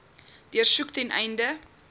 deursoek ten einde